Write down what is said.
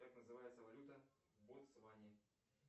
как называется валюта в ботсване